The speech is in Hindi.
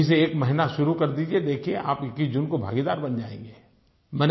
अभी से एक महीना शुरू कर दीजिये देखिये आप 21 जून को भागीदार बन जाएँगे